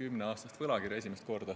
kümneaastast võlakirja.